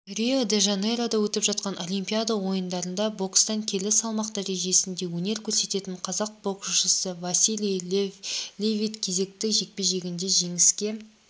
рио-де-жанейрода өтіп жатқан олимпиада ойындарында бокстан келі салмақ дәрежесінде өнер көрсететін қазақ боксшысывасилий левиткезекті жекпе-жегінде жеңіске